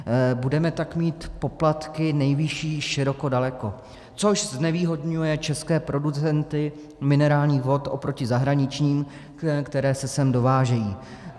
Budeme tak mít poplatky nejvyšší široko daleko, což znevýhodňuje české producenty minerálních vod oproti zahraničním, které se sem dovážejí.